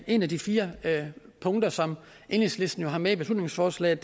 et af de fire punkter som enhedslisten har med i beslutningsforslaget